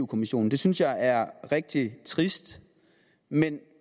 kommissionen det synes jeg er rigtig trist men